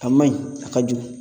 A man ɲi a ka jugu